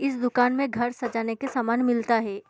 इस दुकान में घर सजाने का सामान मिलता है।